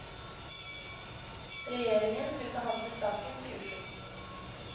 Regjeringen vil behandle saken til uken.